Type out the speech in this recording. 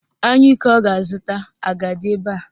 Anyụike ọ ga-azụta a ga-adị ebe a?